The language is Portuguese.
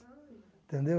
Entendeu?